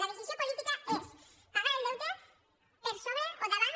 la decisió política és pagar el deute per sobre o davant